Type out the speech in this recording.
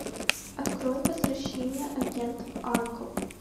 открой возвращение агентов анкл